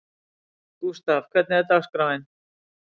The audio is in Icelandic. Gústav, hvernig er dagskráin?